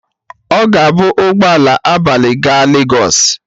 Ọ ga-ebu ụgbọ ala abalị gaa lagọs.